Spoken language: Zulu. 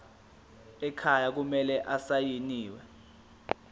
ekhaya kumele asayiniwe